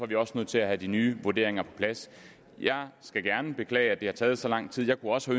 vi også nødt til at have de nye vurderinger på plads jeg skal gerne beklage at det har taget så lang tid jeg kunne også